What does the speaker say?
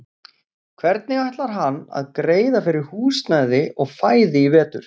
Hvernig ætlar hann að greiða fyrir húsnæði og fæði í vetur?